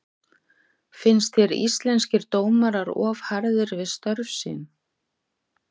Finnst þér Íslenskir dómarar of harðir við störf sín?